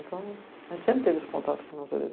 Então, a gente sempre teve esse contato com a natureza.